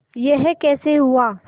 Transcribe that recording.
यह कैसे हुआ